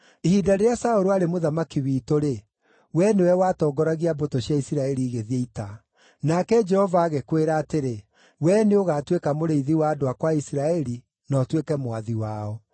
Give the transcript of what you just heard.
Ihinda rĩrĩa Saũlũ aarĩ mũthamaki witũ-rĩ, wee nĩwe watongoragia mbũtũ cia Isiraeli igĩthiĩ ita. Nake Jehova agĩkwĩra atĩrĩ, ‘Wee nĩũgatuĩka mũrĩithi wa andũ akwa a Isiraeli, na ũtuĩke mwathi wao.’ ”